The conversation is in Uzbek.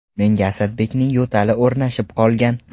Menga Asadbekning yo‘tali o‘rnashib qolgan.